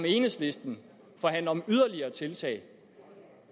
enhedslisten forhandler om yderligere tiltag